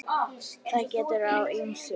Þar gekk á ýmsu.